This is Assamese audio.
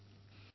ফোন কল সমাপ্ত